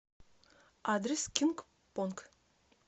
адрес кинг понг